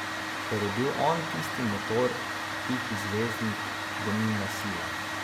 Ker je bil on tisti motor, tihi zvezdnik, gonilna sila.